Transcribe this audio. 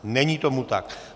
Není tomu tak.